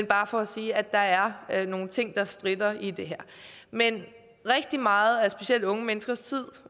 bare for at sige at der er nogle ting der stritter i det her men rigtig meget af specielt unge menneskers tid